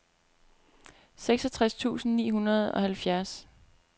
seksogtres tusind ni hundrede og halvfjerds